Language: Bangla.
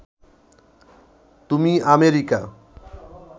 তুমি আমেরিকা